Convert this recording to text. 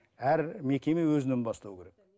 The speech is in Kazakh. әр мекеме өзінен бастау керек